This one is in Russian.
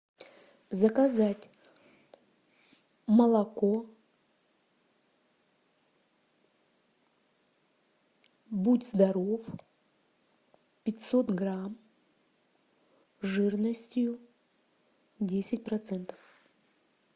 заказать молоко будь здоров пятьсот грамм жирностью десять процентов